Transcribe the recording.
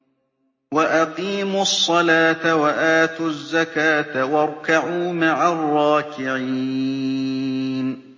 وَأَقِيمُوا الصَّلَاةَ وَآتُوا الزَّكَاةَ وَارْكَعُوا مَعَ الرَّاكِعِينَ